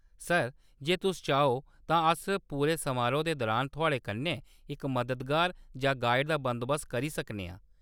Sir, जे तुस चाहो, तां अस पूरे समारोह् दे दुरान थुआढ़े कन्नै इक मददगार जां गाइड दा बंदोबस्त करी सकने आं।